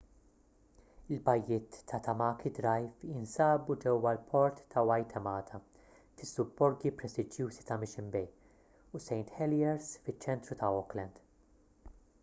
il-bajjiet ta' tamaki drive jinsabu ġewwa l-port ta' waitemata fis-subborgi prestiġjużi ta' mission bay u st heliers fiċ-ċentru ta' auckland